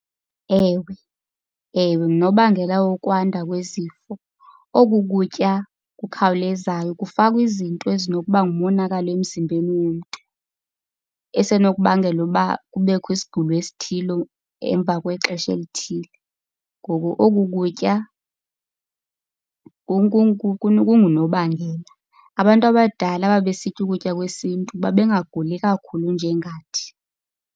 Ewe ewe ngunobangela wokwanda kwezifo. Oku kutya kukhawulezayo kufakwa izinto ezinokuba ngumonakalo emzimbeni womntu, esenokubangela uba kubekho isigulo esithile emva kwexesha elithile, ngoku oku kutya kungunobangela. Abantu abadala ababesitya ukutya kwesintu babengaguli kakhulu njengathi.